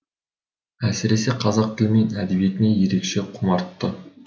әсіресе қазақ тілі мен әдебиетіне ерекше құмартты